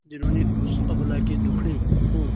जिन्होंने उस अबला के दुखड़े को